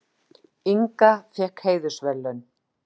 Inga fékk heiðursverðlaun